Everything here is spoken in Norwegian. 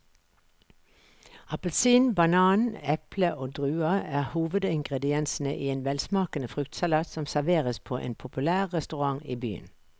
Appelsin, banan, eple og druer er hovedingredienser i en velsmakende fruktsalat som serveres på en populær restaurant i byen.